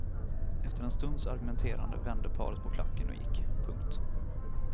Efter en stunds argumenterande vände paret på klacken och gick. punkt